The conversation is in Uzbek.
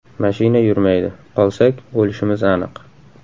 Mashina yurmaydi, qolsak, o‘lishimiz aniq.